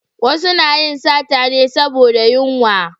Wasu na yin sata me saboda yunwa